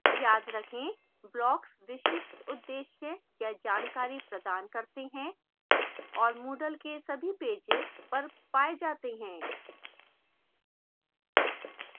याद रखें: blocks विशिष्ट उद्देश्य या जानकारी प्रदान करते हैं